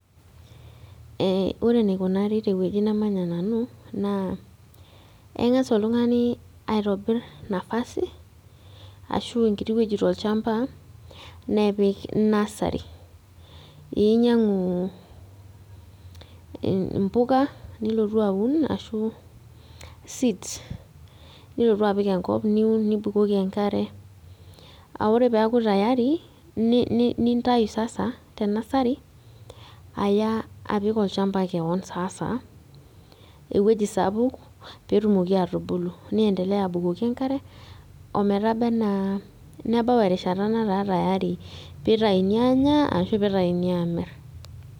Eh ore enikunari tewueji namanya nanu naa eng'as oltung'ani aitobirr nafasi ashu enkiti wueji tolchamba nepik nursery einyiang'u e impuka nilotu aun ashu seeds nilotu apik enkop niun nibukoki enkare aore piaku tayari ni nintai sasa te nursery aya apik olchamba kewon sasa ewueji sapuk petumoki atubulu ni endeleya abukoki enkare ometaba anaa nebau erishata netaa tayari pitaini anya ashu pitaini amirr.